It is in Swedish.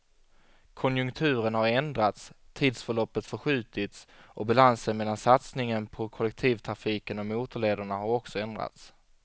Konjunkturen har ändrats, tidsförloppet förskjutits och balansen mellan satsningen på kollektivtrafiken och motorlederna har också ändrats.